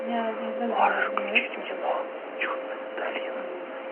можешь включить кино чудная долина